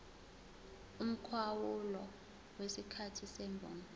umkhawulo wesikhathi semvume